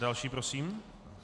Další prosím.